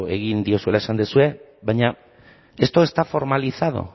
egin diozuela esan duzue baina esto está formalizado